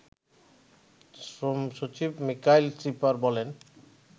শ্রমসচিব মিকাইল শিপার বলেন